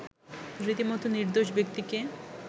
রীতিমত নির্দোষ ব্যক্তিকে